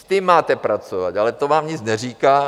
S tím máte pracovat, ale to vám nic neříká.